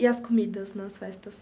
E as comidas nas festas?